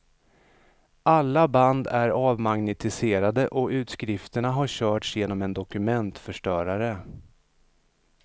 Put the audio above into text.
Alla band är avmagnetiserade och utskrifterna har körts genom en dokumentförstörare.